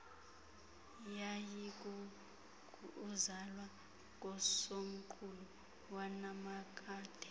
yayikukuzalwa kosomqulu wanaphakade